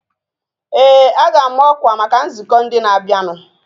Ee, a ga-ama ọkwa maka nzukọ ndị na-abịanụ